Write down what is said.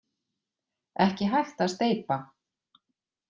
Ekki hægt að steypa.